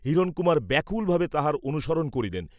হিরণকুমার ব্যাকুলভাবে তাহার অনুসরণ করিলেন।